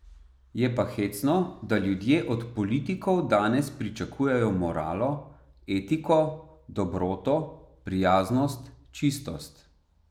Je pa hecno, da ljudje od politikov danes pričakujejo moralo, etiko, dobroto, prijaznost, čistost.